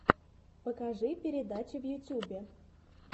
покажи передачи в ютюбе